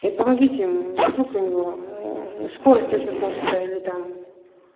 и помогите вдруг у него скорость очень хочет или там